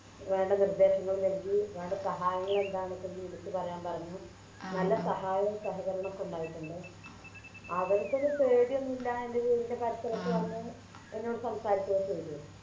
വേണ്ട നിർദേശങ്ങളും നൽകി വേണ്ട സഹായങ്ങളൊക്കെ എന്താണെന്ന് വിളിച്ച് പറയാൻ പറഞ്ഞു നല്ല സഹായോം സഹകരണോക്കെ ഉണ്ടായിട്ടുണ്ട് അവരിക്കൊന്നും പേടിയൊന്നുല്ല എൻറെ വീടിൻറെ പരിസരത്ത് വന്ന് എന്നോട് സംസാരിക്കൊക്കെ ചെയ്തു